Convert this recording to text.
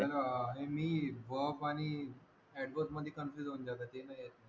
मी verb आणि adverb मध्ये confuse होऊन जातो